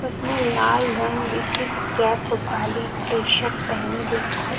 उसने लाल रंग की कैप वाली टी-शर्ट पहनी दिखा--